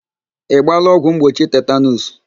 Ị gbaala ọgwụ mgbochi tetanuus?